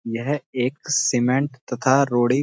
यह एक सीमेंट तथा रोड़ी --